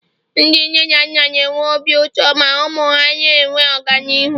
Ndị nne na nna na-enwe obi ụtọ ma ụmụ ha na-enwe ọganihu